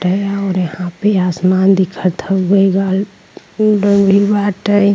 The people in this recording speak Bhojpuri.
और यहाँ पे आसमान दिखत हउवे --